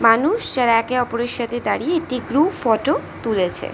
মানুষ যারা একে ওপরের সাথে দাঁড়িয়ে একটি গ্রুপ ফটো তুলেছে।